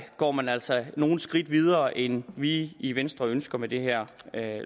går man altså nogle skridt videre end vi i venstre ønsker med det her